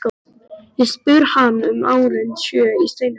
Ég spyr hann um árin sjö í steininum.